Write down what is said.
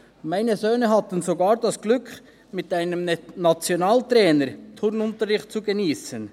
Meine Söhne hatten sogar das Glück, mit einem Nationaltrainer Turnunterricht zu geniessen: